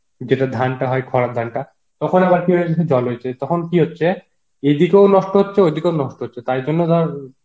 যেটা ধানটা হয় খরার ধানটা, তখন আবার জল হচ্ছে, তখন কি হচ্ছে এদিকেও নষ্ট হচ্ছে ওদিকেও নষ্ট হচ্ছে, তাই জন্য ধর